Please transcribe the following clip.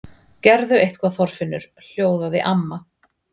Gerðu eitthvað Þorfinnur. hljóðaði amma.